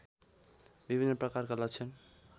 विभिन्न प्रकारका लक्षण